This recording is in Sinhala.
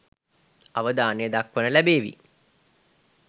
අවධානය දක්වන්න ලැබේවි